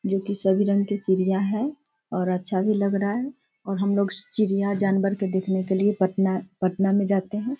जो कि सभी रंग की चिड़ियाँ हैं और अच्‍छा भी लग रहा है और हमलोग चिड़ियाँ जानवर को देखने के लिए पटना पटना में जाते हैं।